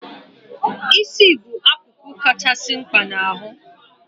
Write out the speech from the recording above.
Isi bụ akụkụ kachasị mkpa n' ahụ